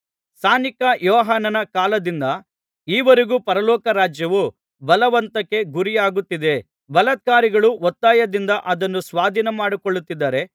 ಸ್ನಾನಿಕ ಯೋಹಾನನ ಕಾಲದಿಂದ ಈ ವರೆಗೂ ಪರಲೋಕ ರಾಜ್ಯವು ಬಲವಂತಕ್ಕೆ ಗುರಿಯಾಗುತ್ತಿದೆ ಬಲಾತ್ಕಾರಿಗಳು ಒತ್ತಾಯದಿಂದ ಅದನ್ನು ಸ್ವಾಧೀನಮಾಡಿಕೊಳ್ಳುತ್ತಿದ್ದಾರೆ